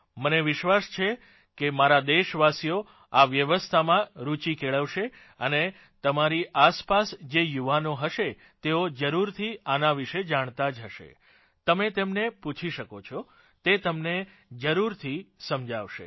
મને વિશ્વાસ છે કે મારા દેશવાસીઓ આ વ્યવસ્થામાં રુચિ કેળવશે અને તમારી આસપાસ જે યુવાનો હશે તેઓ જરૂરથી આના વિશે જાણતાં જ હશે તમે તેમને પૂછી શકો છો તે તમને જરૂરથી સમજાવશે